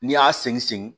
N'i y'a segin